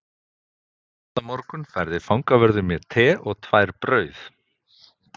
Næsta morgun færði fangavörður mér te og tvær brauð